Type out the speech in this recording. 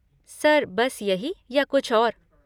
Sir बस यही या और कुछ?